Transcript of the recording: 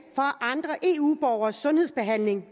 for andre eu borgeres sundhedsbehandling